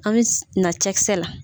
An bɛ na cɛkisɛ la.